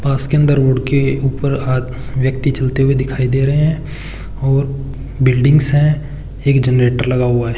पास के अंदर रोड के ऊपर आ व्यक्ति चलते हुए दिखाई दे रहे हैं और बिल्डिंग्स हैं एक जनरेटर लगा हुआ है।